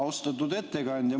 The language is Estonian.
Austatud ettekandja!